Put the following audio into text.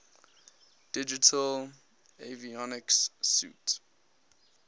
digital avionics suite